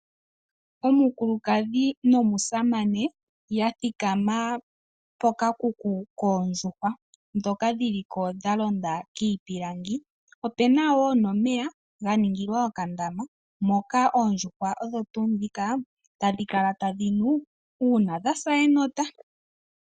Omukulukadhi nomusamane yathikama kokakuku koondjuhwa dhoka dhiliko dhalonda kiipilangi opena wo nomeya ganingilwa okala moka oodhjuhwa dhaningila okunwa uuna dhasa enota